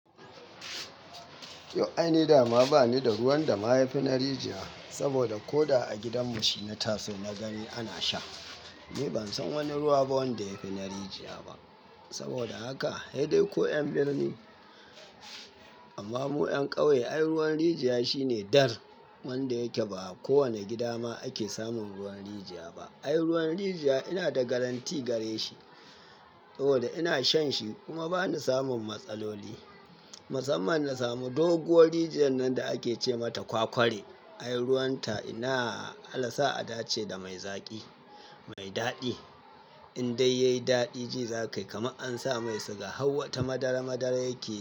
Yo, aini dama bani da ruwan da mayafi na rijiya, saboda ko da a gidanmu shi na taso na gani ana sha. Ni bansan wani ruwa ba wanda yafi na rijiya ba. Saboda haka, hei dai ko 'yan birni, amma mu 'yan kauye ai ruwan rijiya shine dar wanda yake ba kowane gida ma ake samun ruwan rijiya ba. Ai ruwan rijiya ina da garantii gare shi, saboda ina shan shi kuma bani samun matsaloli. Musamman na samu doguwar rijiyar nan da ake ce mata Kwakware. Ai ruwan ta ina Allah sa a dace da mai zaƙi, mai daɗi. In dai yayi daɗi ji za ka yi kamar ansa mai siga, hau wata madara madara yake.